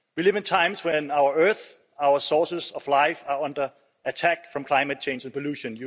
We live in times when our Earth and our sources of life are under attack from climate change and pollution.